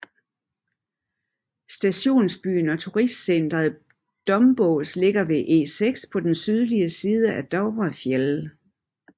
Stationsbyen og turistcentret Dombås ligger ved E6 på den sydlige side af Dovrefjell